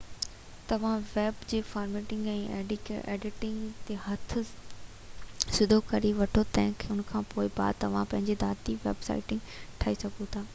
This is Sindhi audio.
توهان ويب تي فارميٽنگ ۽ ايڊيٽنگ تي هٿ سڌو ڪري وٺو ته ان کانپوءِ بعد ۾ توهان پنهنجي ذاتي ويب سائيٽ ٺاهي سگهو ٿا